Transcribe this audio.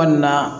Walima